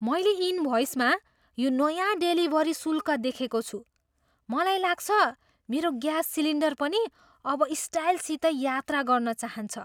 मैले इनभ्वइसमा यो नयाँ डेलिभरी शुल्क देखेको छु। मलाई लाग्छ मेरो ग्यास सिलिन्डर पनि अब स्टाइलसित यात्रा गर्न चाहन्छ!